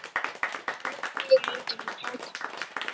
Hvernig mundi hún taka mér?